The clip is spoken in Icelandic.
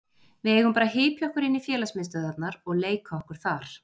Við eigum bara að hypja okkur inn í félagsmiðstöðvarnar og leika okkur þar.